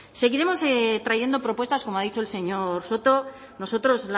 seguiremos trayendo propuestas como ha dicho el señor soto nosotros